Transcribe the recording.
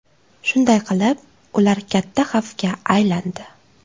Shunday qilib, ular katta xavfga aylandi.